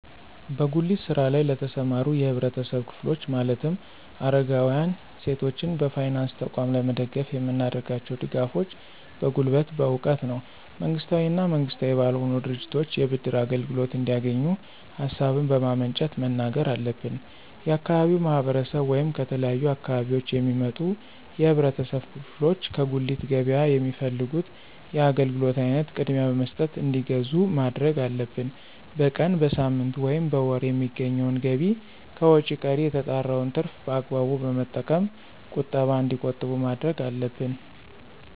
በጉሊት ስራ ለይ ለተሰማሩ የህብረተሰብ ክፍሎች ማለትም አረጋውያን፣ ሴቶችን በፋይናንስ ተቋም ለመደገፍ የምናደርጋቸው ድጋፎች በጉልበት፣ በእውቀት ነው። መንግስታዊ እና መንግስታዊ ባልሆኑ ድርጅቶች የብድር አገልግሎት እንዲያገኙ ሀሳቡን በማመንጨት መናገር አለብን። የአካባቢው ማህረሰብ ወይም ከተለያዩ አካባቢዎች የሚመጡ የህብረተሰብ ክፍሎች ከጉሊት ገበያ የሚፈልጉት የአገልግሎት አይነት ቅድሚያ በመስጠት እንዲገዙ ማድረግ አለብን። በቀን፣ በሳምንት፣ ወይም በወር የሚያገኙትን ገቢ ከወጭ ቀሪ የተጣራውን ትርፍ በአግባቡ በመጠቀም ቁጠባ እንዲቆጥቡ ማድረግ አለብን።